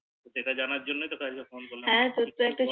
সেটা জানার জন্য তোকে আজকে Phone করলি